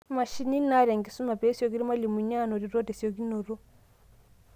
Imashinini naata enkisuma pesioki irmalimuni anotito tesiokinoto.